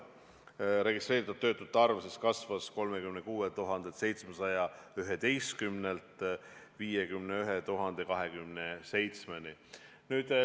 Registreeritud töötute arv kasvas 36 711-st 51 027-ni.